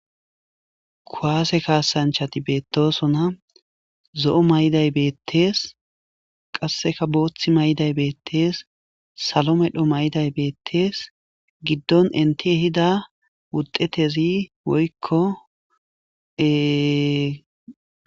kuwaase kaasanchati beettosona zo7o may7iday beettees qasseka booththi may7day beettees salo medho may7day beettees giddon enti ehida wuxetezi woykko ee.